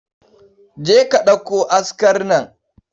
Je ka ɗauko askar nan.